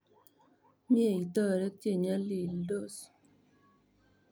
Mye itoret che nyalildos.